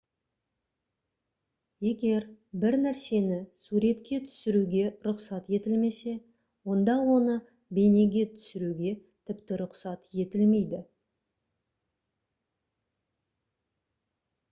егер бір нәрсені суретке түсіруге рұқсат етілмесе онда оны бейнеге түсіруге тіпті рұқсат етілмейді